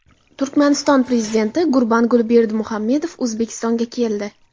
Turkmaniston prezidenti Gurbanguli Berdimuhammedov O‘zbekistonga keldi.